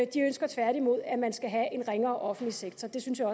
de ønsker tværtimod at man skal have en ringere offentlig sektor det synes jeg